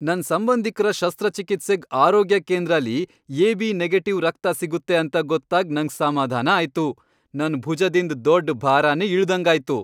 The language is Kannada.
ನನ್ ಸಂಬಂಧಿಕ್ರ ಶಸ್ತ್ರಚಿಕಿತ್ಸೆಗ್ ಆರೋಗ್ಯ ಕೇಂದ್ರಲಿ ಎಬಿ ನೆಗೆಟಿವ್ ರಕ್ತ ಸಿಗುತ್ತೆ ಅಂತ ಗೊತ್ತಾಗ್ ನಂಗ್ ಸಮಾಧಾನ ಆಯ್ತು. ನನ್ ಭುಜದಿಂದ್ ದೊಡ್ ಬಾರನೆ ಇಳ್ದಂಗ್ ಆಯ್ತು.